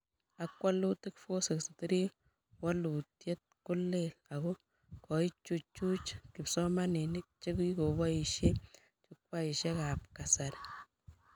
Ak walutik 463 waluteet ko lel ak koichuch kipsomanink chekikoboishe jukwaishekab kasari